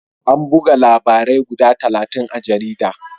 An buga labarai guda talatin a jaridar.